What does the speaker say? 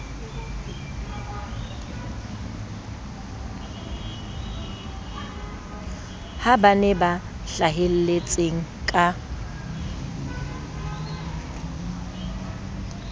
ba bane ba hlahelletseng ka